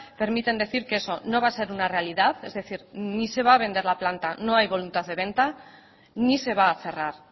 permiten decir que eso no va a ser una realidad es decir ni se va a vender la planta no hay voluntad de venta ni se va a cerrar